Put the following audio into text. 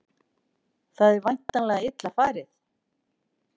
Það er væntanlega illa farið?